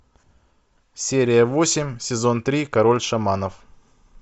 серия восемь сезон три король шаманов